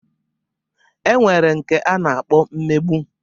E nwere nke a na-akpọ mmegbu.